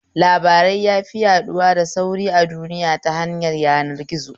Labarai yafi yaɗuwa da sauri a duniya ta hanyar yanar gizo